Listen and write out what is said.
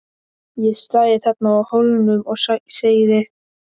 Ég stæði þarna á Hólnum og segði